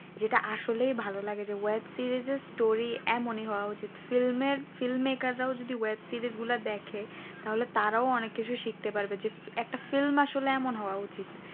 যেটা আসলে ভালোই লাগে যে ওই series তার এমনি story এমনই হওয়া উচিত film এর যদি সিরিজ গুলো দেখে তো তারা অনেক কিছু শিখতে পারবে যদি একটা film আসলে এমন হওয়া উচিত।